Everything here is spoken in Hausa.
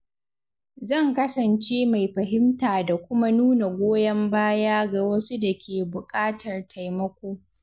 Zan kasance mai fahimta da kuma nuna goyon baya ga wasu da ke buƙatar taimako.